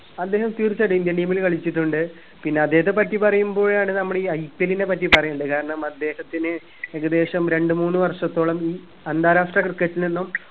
അദ്ദേഹം തീർച്ചയായിട്ടും indian team ൽ കളിച്ചിട്ടുണ്ട് പിന്നെ അദ്ദേഹത്തെ പറ്റി പറയുമ്പോഴാണ് നമ്മൾ ഇ IPL നെ പറ്റി പറയുന്നത് കാരണം അദ്ദേഹത്തിന് ഏകദേശം രണ്ടു മൂന്ന് വർഷത്തോളം ഇ അന്താരാഷ്ട്ര cricket നിന്നും